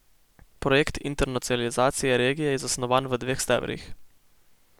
Projekt internacionalizacije regije je zasnovan v dveh stebrih.